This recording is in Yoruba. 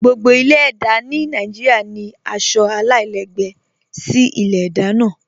Gbogbo ilẹ̀-èdá ni Nàìjíríà ni aṣọ alailẹgbẹ sí ilẹ̀-èdá náà.